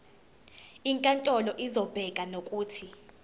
inkantolo izobeka nokuthi